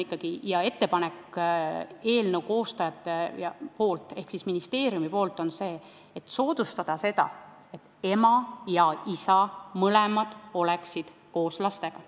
Eelnõu koostajate ehk ministeeriumi ettepanek on soodustada seda, et ema ja isa, mõlemad, oleksid koos lastega.